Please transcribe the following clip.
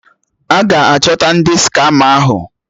A ga-achọta ndị skama ahụ?